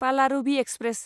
Palaruvi express